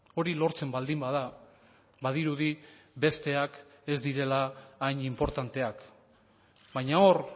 hori lortzen baldin bada badirudi besteak ez direla hain inportanteak baina hor